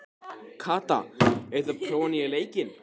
Kata, hefur þú prófað nýja leikinn?